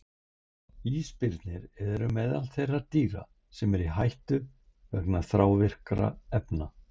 Ísbirnir eru meðal þeirra dýra sem eru í hættu vegna þrávirkra efna.